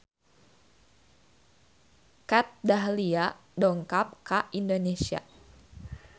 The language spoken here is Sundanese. Kat Dahlia dongkap ka Indonesia